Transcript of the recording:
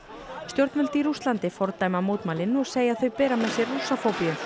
stjórnvöld í Rússlandi fordæma mótmælin og segja þau bera með sér Rússafóbíu